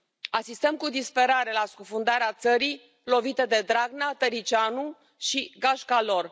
Asistăm cu disperare la scufundarea țării lovite de Dragnea, Tăriceanu și gașca lor.